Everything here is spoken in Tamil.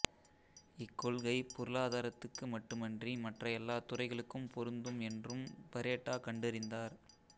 இக்கொள்கை பொருளாதாரத்துக்கு மட்டுமன்றி மற்ற எல்லாத் துறைகளுக்கும் பொருந்தும் என்றும் பரேட்டோ கண்டறிந்தார்